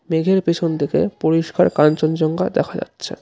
মেঘের পেছন থেকে পরিষ্কার কাঞ্চনজঙ্ঘা দেখা যাচ্ছে।